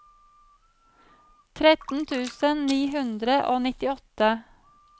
tretten tusen ni hundre og nittiåtte